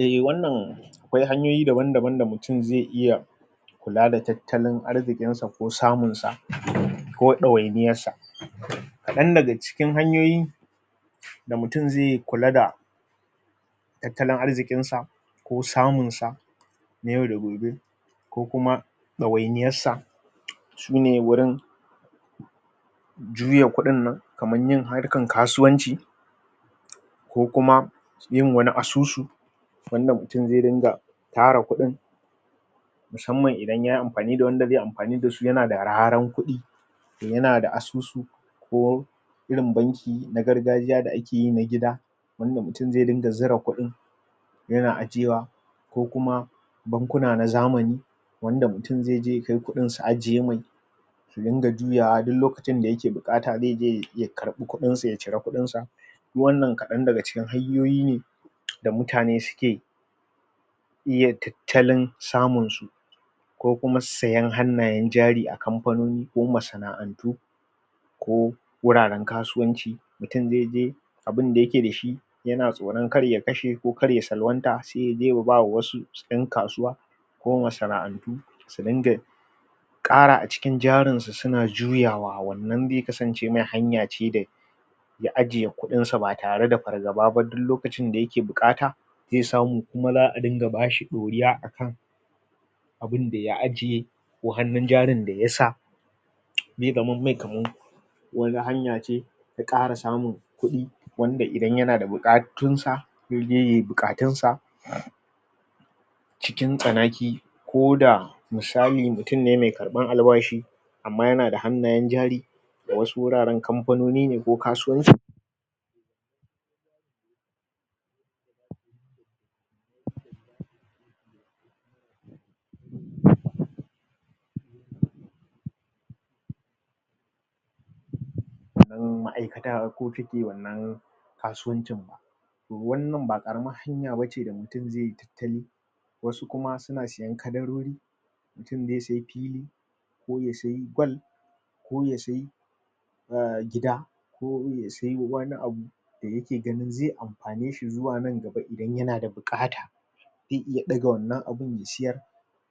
a wannan akwai hanyoyi daban daban da mutum zai iya kula da tattalin arzikin sa ko samun sa ko ɗawainiyar sa kaɗan daga cikin hanyoyi da mutum zai kula da tattalin arzikin sa ko samun sa na yau da gobe ko kuma ɗawainiyar sa sune wurin juya kudin nan kamar yin harkan kasuwanci ko kuma yin wani asusu wanda mutum zai ringa tara kudin musamman idan yayi amfani da wanda zaiyi amfani su yana da raran kudin yana da asusu ko irin banki na gargajiya da akeyi na gida wanda mutum zai ringa zura kudin yana ajiyewa ko kuma bankuna na zamani wanda mutum zaije ya kai kudin su ajiye mai su ringa juyawa duk lokacin da yake buƙata zai je ya iya karbi kuɗin sa ya cira kuɗin sa kuma wannan kadan daga cikin hanyoyi ne da mutane suke iya tattalin samun su ko kuma sayen hannayen jari a kamfani ko masana'antu ko wuraren kasuwanci mutum zai je abinda yake da shi yana tsoron kar ya kashe ko kar ya salwanta sai ya je ya ba wasu yan kasuwa ko masana'antu su dinga ƙara a cikin jarin su suna juyawa wannan zai kasance mai hanya ce da zai ya ajiye ƙudin sa ba tareda fargaba ba duk lokacin da yake buƙata zai samu kuma zaa dinga bashi ɗoriya akan abinda ya ajiye ko hannun jarin da yasa zai zamam mai kaman wani hanya ce ta ƙara samun kuɗi wanda idan yana da buƙatun sa zai je yayi buƙatun sa cikin tsanaki ko da misali mutum ne mai ƙarbar albashi amman yana da hannayen jari da wasu wuraren kampanoni ne ko kasuwanci wanna ma'aikata su suke wannan kasuwanci wannan ba ƙaramar hanya ba ce da mutum zaiyi tattali wasu kuma suna sayen kadarori mutum zai saye fili ko ya sayi gwal ko ya sayi gida ko ya iya sayen wani abu da yake gani zai amfane sa izuwa nan gaba idan yana da buƙata zai iya ɗaga wannan abun ya siyar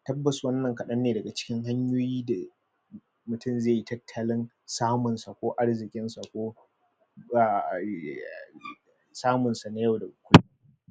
tabbas wannan kadan ne daga cikin hanyoyi da mutum zaiyi tattalin samun sa ko arzikin sa ko? samun sa na yau da gobe